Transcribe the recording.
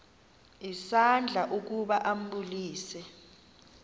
isandla ukuba ambulise